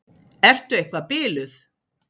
Ertu eitthvað biluð?